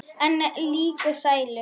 En líka sælu.